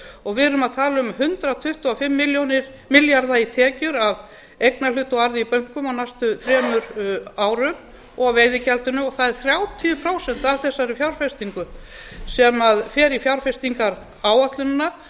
og við erum að tala um hundrað tuttugu og fimm milljarða í tekjur af eignarhlut og arði í bönkum á næstu þremur árum og veiðigjaldinu og það er þrjátíu prósent af þessari fjárfestingu sem fer í fjárfestingaráætlunina